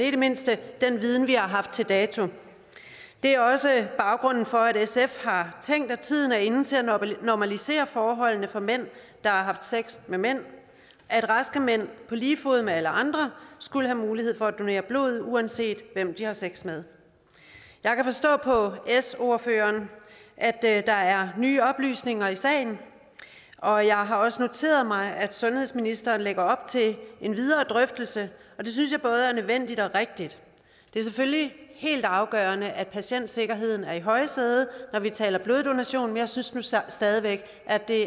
i det mindste den viden vi har haft til dato det er også baggrunden for at sf har tænkt at tiden er inde til at normalisere forholdene for mænd der har haft sex med mænd at raske mænd på lige fod med alle andre skal have mulighed for at donere blod uanset hvem de har sex med jeg kan forstå på s ordføreren at der er nye oplysninger i sagen og jeg har også noteret mig at sundhedsministeren lægger op til en videre drøftelse og det synes jeg både er nødvendigt og rigtigt det er selvfølgelig helt afgørende at patientsikkerheden er i højsædet når vi taler bloddonation men jeg synes nu stadig væk at det